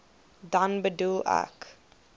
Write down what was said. dan bedoel ek